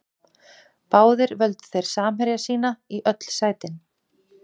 Báðir völdu þeir samherja sína í öll sætin.